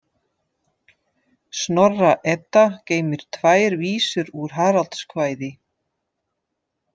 Snorra- Edda geymir tvær vísur úr Haraldskvæði.